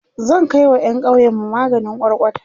zan Kai wa ƴan ƙauyenmu maganin kwarkwata